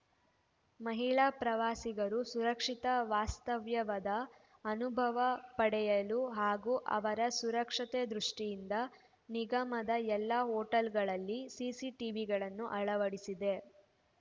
ಮಹಿಳಾ ಪ್ರವಾಸಿಗರು ಸುರಕ್ಷಿತ ವಾಸ್ತವ್ಯವದ ಅನುಭವ ಪಡೆಯಲು ಹಾಗೂ ಅವರ ಸುರಕ್ಷತೆ ದೃಷ್ಟಿಯಿಂದ ನಿಗಮದ ಎಲ್ಲಾ ಹೋಟೆಲ್‌ಗಳಲ್ಲಿ ಸಿಸಿಟಿವಿಗಳನ್ನು ಅಳವಡಿಸಿದೆ